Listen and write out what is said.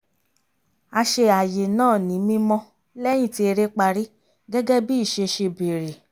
a ṣe ààyè náà ní mímọ́ lẹ́yìn tí eré parí gẹ́gẹ́ bí ìṣe ṣe bèrè